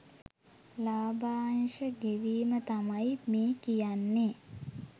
ලාභාංශ ගෙවීම තමයි මේ කියන්නේ